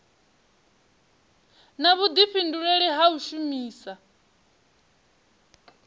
na vhudifhinduleli ha u shumisa